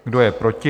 Kdo je proti?